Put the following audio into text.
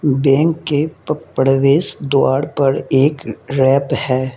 Bank के प्रवेश द्वार पर एक रैप है।